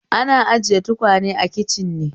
Ana ajiye tukwane a kicin ne